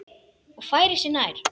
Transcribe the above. Og færir sig nær.